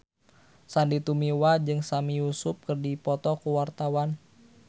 Sandy Tumiwa jeung Sami Yusuf keur dipoto ku wartawan